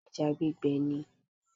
Ìgbín àti ẹja gbígbẹ ni.